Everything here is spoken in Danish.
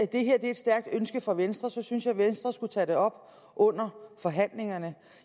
det her er et stærkt ønske fra venstres side synes jeg at venstre skulle tage det op under forhandlingerne